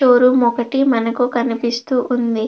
Show room ఒకటి మనకి కనిపిస్తూ ఉంది.